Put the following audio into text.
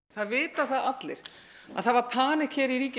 það vita það allir að það var